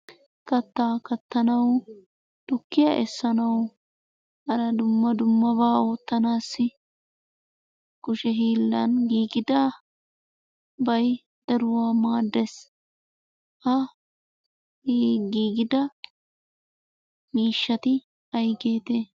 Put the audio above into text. Kattaa kattanawu tukkiya essanawu hara dumma dummabaa oottanaassi kushe hiillan giigidabay daruwa maaddees. Ha giigida miishshati aygeetee?